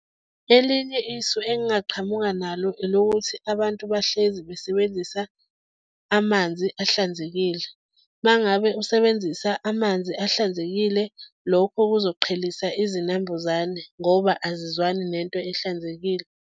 Elinye isu engingaqhamuka nalo elokuthi abantu bahlezi besebenzisa amanzi ahlanzekile. Uma ngabe usebenzisa amanzi ahlanzekile, lokho kuzoqhelisa izinambuzane ngoba azizwani nento ehlanzekile.